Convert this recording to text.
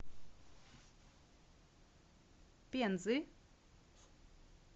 пензы